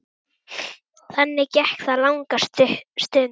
Þannig gekk það langa stund.